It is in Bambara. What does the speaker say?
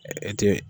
E tɛ